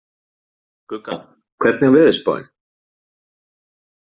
Gugga, hvernig er veðurspáin?